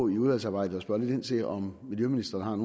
i udvalgsarbejdet spørge lidt ind til om miljøministeren